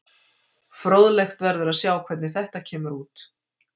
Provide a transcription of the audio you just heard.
Fróðlegt verður að sjá hvernig þetta kemur út.